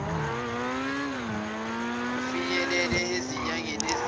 kufinyelele ezinyangeni ezine